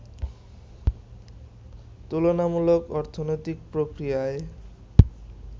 তুলনামূলক অর্থনৈতিক প্রক্রিয়া